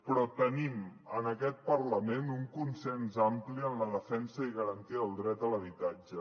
però tenim en aquest parlament un consens ampli en la defensa i garantia del dret a l’habitatge